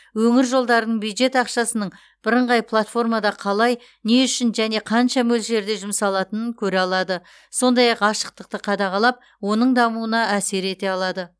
өңір жолдарының бюджет ақшасының бірыңғай платформада қалай не үшін және қанша мөлшерде жұмсалатынын көре алады сондай ақ ашықтықты қадағалап оның дамуына әсер ете алады